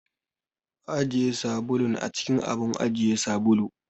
Ajiye sabulun a cikin abun ajiye sabulu.